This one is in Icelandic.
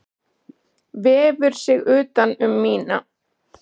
Vefur sig utan um mína.